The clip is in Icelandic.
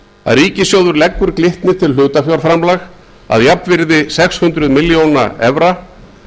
að ríkissjóður leggur glitni til hlutafjárframlag að jafnvirði sex hundruð milljóna evra